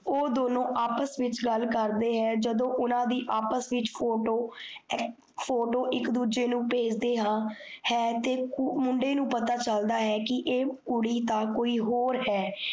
ਓਹ ਦੋਨੋਂ ਆਪਸ ਵਿੱਚ ਗੱਲ ਕਰਦੇ ਹੈ, ਜਦੋਂ ਓਹਨਾਂ ਦੀ ਆਪਸ ਵਿੱਚ photo ਅ photo ਇੱਕ ਦੂਜੇ ਨੂੰ ਪੇਜਦੇ ਹਾਂ ਹੈ, ਤੇ ਕੁ ਮੁੰਡੇ ਨੂੰ ਪਤਾ ਚੱਲਦਾ ਹੈ ਕੀ ਐ ਕੁੜੀ ਤਾ ਕੋਈ ਹੋਰ ਹੈ।